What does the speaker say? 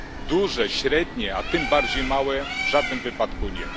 Duże, średnie, a tym bardziej małe miasta w żadnym wypadku nie.